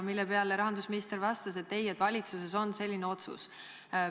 Selle peale rahandusminister vastas, et ei, valitsuses on selline otsus.